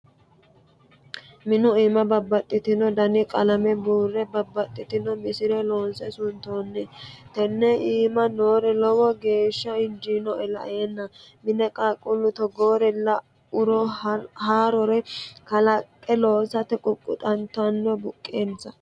Minu iima babbaxxitino dani qalame buure babbaxitino misile loonse suntonni tene iima noori lowo geeshsha injinoe laenna mine qaaqqulu togoore lauro haarore kalaqe loossate ququxattano buqqensa.